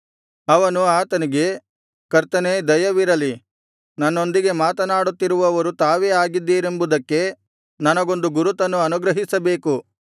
ಅವನು ಆತನಿಗೆ ಕರ್ತನೇ ದಯವಿರಲಿ ನನ್ನೊಂದಿಗೆ ಮಾತನಾಡುತ್ತಿರುವವರು ತಾವೇ ಆಗಿದ್ದೀರೆಂಬುದಕ್ಕೆ ನನಗೊಂದು ಗುರುತನ್ನು ಅನುಗ್ರಹಿಸಬೇಕು